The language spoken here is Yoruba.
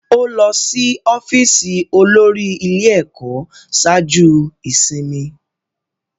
Ó lọ sí ọ́fíìsì olórí ilé-ẹ̀kọ́ ṣáájú ìsinmi.